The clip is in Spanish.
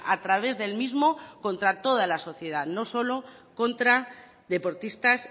a través del mismo contra toda la sociedad no solo contra deportistas